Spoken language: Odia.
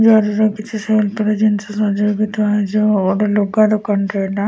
ଜରିରେ କିଛି ସଜା ହେଇଛି ଥୁଆ ହେଇଛି ଅ ଗୋଟେ ଲୁଗା ଦୋକାନଟେ ଏଇଟା।